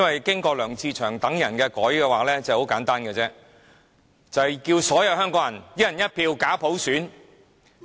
經過了梁志祥議員等人的修改，便很簡單，就是叫所有香港人"一人一票"假普選。